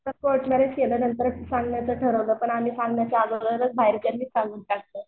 फक्त court marriage केलं नंतर ठरवलं सांगायचं पण आम्ही सांगायच्या अगोदरच बाहेरच्यांनि सांगून टाकलं.